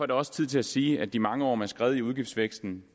det også tid til at sige at de mange år med skred i udgiftsvæksten